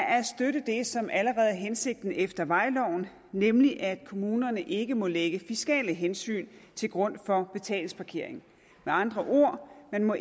at støtte det som allerede er hensigten efter vejloven nemlig at kommunerne ikke må lægge fiskale hensyn til grund for betalingsparkering med andre ord må